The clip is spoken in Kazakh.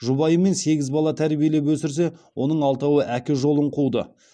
жұбайымен сегіз бала тәрбиелеп өсірсе оның алтауы әке жолын қуды